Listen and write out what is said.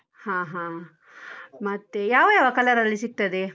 ಹಾ ಹಾ. ಮತ್ತೆ ಯಾವ ಯಾವ color ಅಲ್ಲಿ ಸಿಗ್ತದೆ?